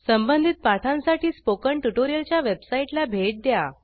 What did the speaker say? संबंधित पाठांसाठी स्पोकन ट्युटोरियलच्या वेबसाईटला भेट द्या